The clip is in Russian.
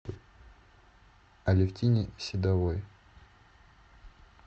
алевтине седовой